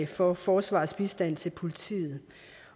for forsvarets bistand til politiet